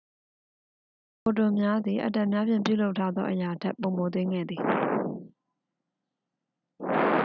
ဖိုတွန်များသည် အက်တမ်များဖြင့် ပြုလုပ်ထားသော အရာထက် ပိုမိုသေးငယ်သည်